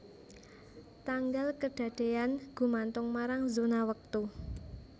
Tanggal kedadéyan gumantung marang zona wektu